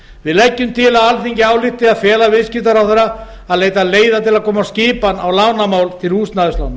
við leggjum til að alþingi álykti að fela viðskiptaráðherra að leita leiða til að koma skipan á lánamál til húsnæðislána